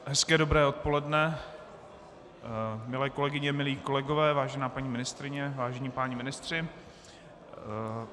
Hezké dobré odpoledne, milé kolegyně, milí kolegové, vážená paní ministryně, vážení páni ministři.